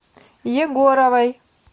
егоровой